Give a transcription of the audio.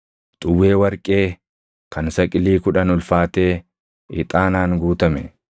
xuwwee warqee kan saqilii kudhan ulfaatee ixaanaan guutame,